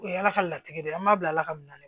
O ye ala ka latigɛ de ye an b'a bila ala ka minɛn